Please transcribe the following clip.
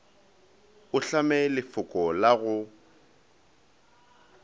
o hlame lefoko la go